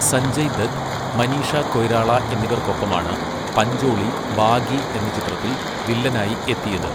സഞ്ജയ് ദത്ത്, മനീഷ കൊയ്രാള എന്നിവർക്കൊപ്പമാണ് പഞ്ചോളി, 'ബാഗി' എന്ന ചിത്രത്തിൽ വില്ലനായി എത്തിയത്.